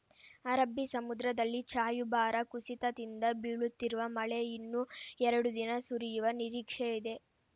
ಅರಬ್ಬಿ ಸಮುದ್ರದಲ್ಲಿ ವಾಯುಭಾರ ಕುಸಿತದಿಂದ ಬೀಳುತ್ತಿರುವ ಮಳೆ ಇನ್ನೂ ಎರಡು ದಿನ ಸುರಿಯುವ ನಿರೀಕ್ಷೆ ಇದೆ